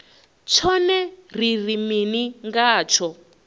tshone ri ri mini ngatsho